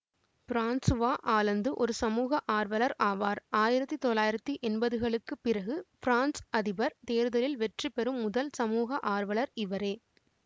Francois Hollande ஒரு சமூக ஆர்வலர் ஆவார் ஆயிரத்தி தொள்ளாயிரத்தி என்பதுகளுக்குப் பிறகு பிரான்சு அதிபர் தேர்தலில் வெற்றி பெறும் முதல் சமூக ஆர்வலர் இவரே